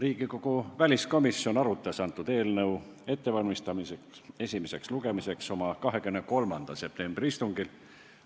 Riigikogu väliskomisjon valmistas antud eelnõu esimeseks lugemiseks ette oma 23. septembri istungil.